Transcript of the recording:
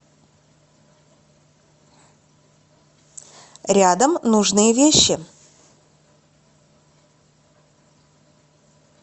рядом нужные вещи